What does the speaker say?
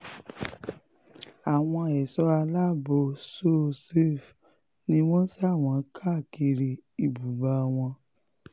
um àwọn ẹ̀ṣọ́ aláàbọ̀ so-safe ni wọ́n sà wọ́n káàkiri um ibùba wọn